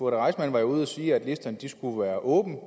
reissmann var jo ude at sige at listerne skulle være åbne